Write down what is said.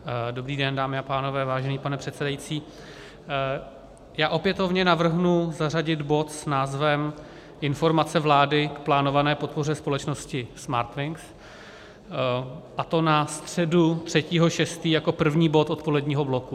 Dobrý den, dámy a pánové, vážený pane předsedající, já opětovně navrhnu zařadit bod s názvem Informace vlády k plánované podpoře společnosti Smartwings, a to na středu 3. 6. jako první bod odpoledního bloku.